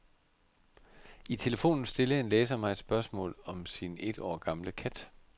I telefonen stillede en læser mig et spørgsmål om sin et år gamle kat.